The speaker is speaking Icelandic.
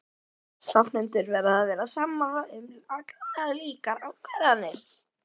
Stofnendur verða að vera sammála um allar líkar ákvarðanir.